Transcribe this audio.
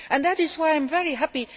That is why I am very happy